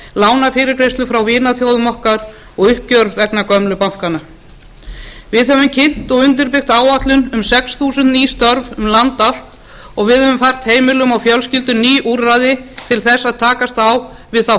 lánafyrirgreiðslu frá vinaþjóðum okkar og uppgjör vegna gömlu bankanna við höfum kynnt og undirbyggt áætlun um sex þúsund ný störf um land allt og við höfum fært heimilum og fjölskyldum ný úrræði til þess að takast á við þá